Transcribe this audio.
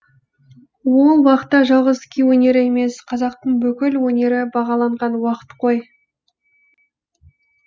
ол уақта жалғыз күй өнері емес қазақтың бүкіл өнері бағаланған уақыт қой